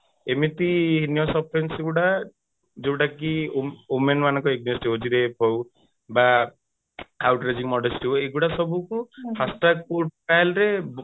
ଏମିତି ଗୁଡା ଯୋଉଟା କି women ମାନଙ୍କ against ରେ ହଉଛି rape ହଉ ବା ହଉ ଏଇଗୁଡା ସବୁ କୁ first track court trial ରେ